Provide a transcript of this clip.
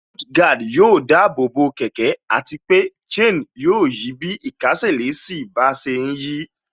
Mudguard yóò dáàbò bo kẹ̀kẹ́ àti pé chain yóò yí bí ìkésè sí bá ṣe ń yí